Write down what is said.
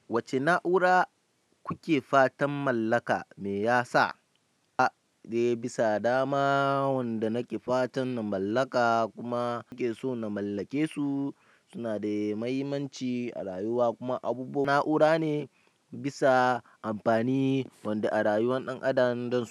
Wacce na'ura kuke fatan mallaka me yasa? A, dai bisa dama wanda nake fatan na mallaka kuma nake so na mallake su suna da mahimmanci a rayuwa kuma abubuwa na'ura ne bisa amfani wanda a rayuwan ɗan adam dasu.